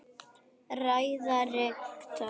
Ræða rektors